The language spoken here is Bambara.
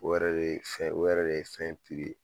O yɛrɛ de fɛn o yɛrɛ de ye fɛn in ye.